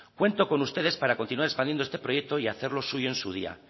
cuento con ustedes para continuar expandiendo este proyecto y hacerlo suyo en su día